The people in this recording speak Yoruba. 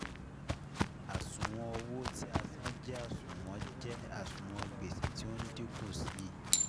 Àṣùwọ̀n owó tí a san jẹ́ àṣùwọ̀n jẹ́ àṣùwọ̀n gbèsè tí ó dínkù sí i